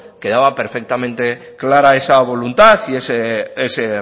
quedaba perfectamente clara esa voluntad y ese